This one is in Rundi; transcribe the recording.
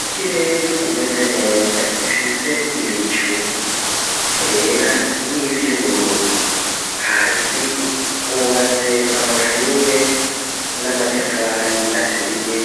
Ikirere kimeze neza gifise ibicu vyera ni vy`ubururu hasi hubatse amashuri n'amatafari aturiye